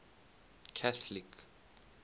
catholic